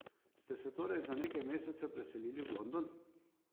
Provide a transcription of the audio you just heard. Ste se torej za nekaj mesecev preselili v London?